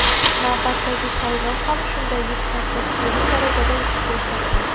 Navbatdagi saylov ham shunday yuksak tashkiliy darajada o‘tishiga ishonaman.